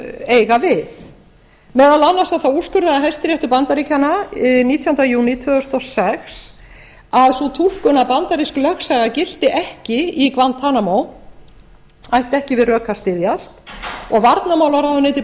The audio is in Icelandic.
eiga við meðal annars þá úrskurðaði hæstiréttur bandaríkjanna nítjánda júní tvö þúsund og sex að sú túlkun að bandarísk lögsaga gilti ekki í guantanamo ætti ekki við rök að styðjast og varnarmálaráðuneyti